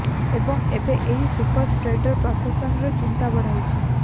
ଏବଂ ଏବେ ଏହି ସୁପର ସ୍ପ୍ରେଡର ପ୍ରସାଶନର ଚିନ୍ତା ବଢାଇଛି